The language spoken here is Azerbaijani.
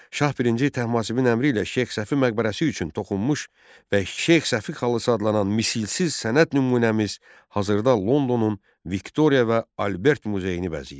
Şah birinci Təhmasibin əmri ilə Şeyx Səfi məqbərəsi üçün toxunmuş və Şeyx Səfi xalısı adlanan misilsiz sənət nümunəmiz hazırda Londonun Viktoriya və Albert muzeyini bəzəyir.